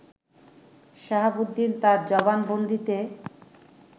শাহাবুদ্দিন তার জবানবন্দিতে